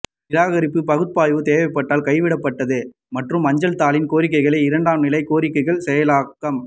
நிராகரிப்பு பகுப்பாய்வு தேவைப்பட்டால் கைவிடப்பட்டது மற்றும் அஞ்சல் தாளின் கோரிக்கைகள் இரண்டாம் நிலை கோரிக்கைகள் செயலாக்கம்